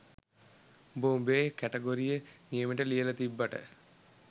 උඹ උඹේ කැටගොරිය නියමෙට ලියල තිබ්බට